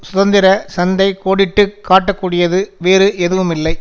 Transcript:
சுதந்திர சந்தை கோடிட்டு காட்டக்கூடியது வேறு எதுவுமில்லை